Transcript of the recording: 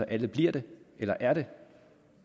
alle bliver det eller er det